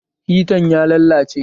Hitan ya lallace